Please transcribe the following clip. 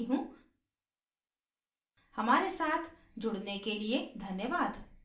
I I T Bombay से मैं श्रुति आर्य अब आपसे विदा लेती हूँ हमारे साथ जुड़ने के लिए धन्यवाद